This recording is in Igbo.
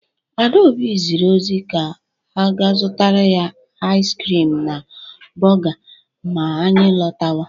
Adaobi zịrị ozi ka a zụtara ya ais krịm na bọọga ma anyị lọtawa.